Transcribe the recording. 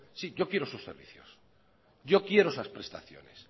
sí yo quiero sus servicios yo quiero esas prestaciones